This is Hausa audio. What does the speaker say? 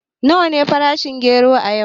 Nawa ne farashin gero a yau?